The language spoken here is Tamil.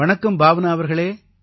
வணக்கம் பாவ்னா அவர்களே